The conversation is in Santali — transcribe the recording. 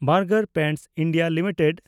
burger paints India limited